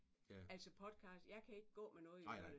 Altså podcast jeg kan ikke gå med noget i ørene